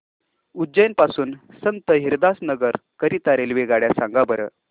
उज्जैन पासून संत हिरदाराम नगर करीता रेल्वेगाड्या सांगा बरं